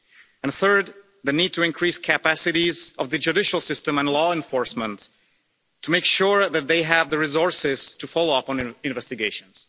and, third, the need to increase the capacities of the judicial system and law enforcement to make sure that they have the resources to follow up on investigations.